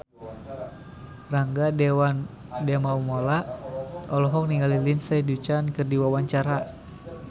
Rangga Dewamoela olohok ningali Lindsay Ducan keur diwawancara